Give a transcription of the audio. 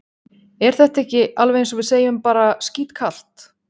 Er þetta ekki alveg eins og við segjum bara skítkalt?